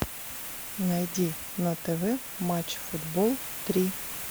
найди на тв матч футбол три